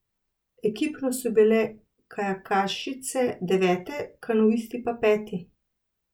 Ekipno so bile kajakašice devete, kanuisti pa peti.